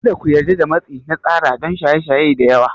Kada ku yarda da matsi na tsara don shaye shaye da yawa.